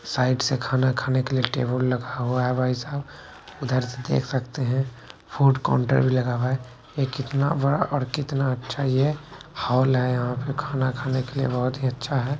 Side से खाना खाने के लिए टेबल लगा हुआ है भाई साहब उधर से देख सकते हैं फूड काउंटर भी लगा हुआ है ये कितना बड़ा और कितना अच्छा ये हॉल है यहाँ पे खाना खाने के लिए बहुत ही अच्छा है।